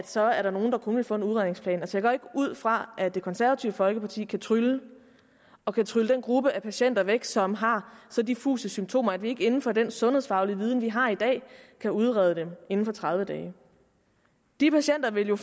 så er nogle der kun ville få en udredningsplan jeg ud fra at det konservative folkeparti ikke kan trylle og kan trylle den gruppe af patienter væk som har så diffuse symptomer at vi ikke inden for den sundhedsfaglige viden vi har i dag kan udrede dem inden for tredive dage de patienter vil jo